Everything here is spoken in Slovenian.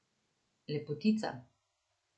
Lepotica.